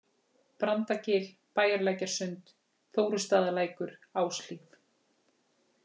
Brandagil, Bæjarlækjarsund, Þórustaðalækur, Áshlíð